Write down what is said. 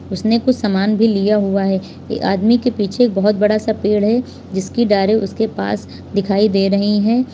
उसने कुछ सामान भी लिया हुआ है ये आदमी के पीछे एक बहुत बड़ा सा पेड़ है जिसकी डारी उसके पास दिखाई दे रही है।